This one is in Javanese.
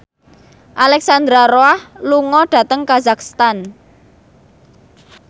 Alexandra Roach lunga dhateng kazakhstan